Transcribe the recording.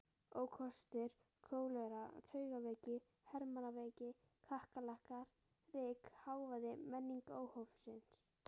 Ókostir: kólera, taugaveiki, hermannaveiki, kakkalakkar, ryk, hávaði, menning óhófsins.